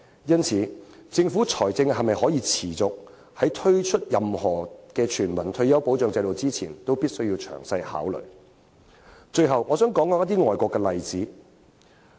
因此，政府必須在推出任何全民退休保障制度前，詳細考慮其在財政上是否可以持續作出這方面的承擔。